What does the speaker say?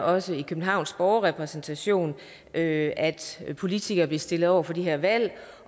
også i københavns borgerrepræsentation at at politikere blev stillet over for de her valg